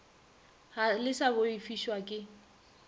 ga le sa boifišwa ke